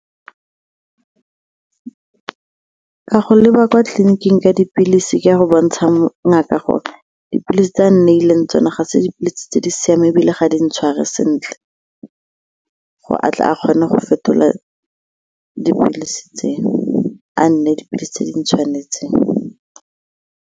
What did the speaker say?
Ka go leba kwa tleliniking ka dipilisi ka go bontsha ngaka gore dipilisi tse a nneileng tsone ga se dipilisi tse di siameng ebile ga di ntshware sentle gore a tle a kgone go fetola dipilisi tse, a nneye dipilisi tse di tshwanetseng.